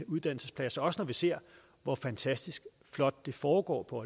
uddannelsespladser også når vi ser hvor fantastisk flot det foregår på